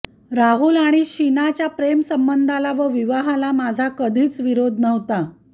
राहुल आणि शीनाच्या प्रेमसंबंधाला व विवाहाला माझा कधीच विरोध नव्हता